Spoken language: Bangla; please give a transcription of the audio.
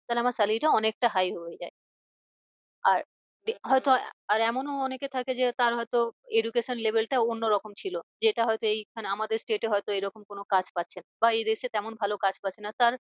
তাহলে আমার salary টা অনেকটা high হয়ে যায়। আর হয় তো আর এমনও অনেকে থাকে যে তার হয় তো education level টা অন্য রকম ছিল। যেটা হয় তো এই মানে আমাদের state এ হয় তো এরকম কোনো কাজ পাচ্ছে না। বা এই দেশে তেমন ভালো কাজ পাচ্ছে না। তার